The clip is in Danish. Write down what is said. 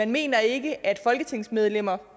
mener ikke at folketingsmedlemmer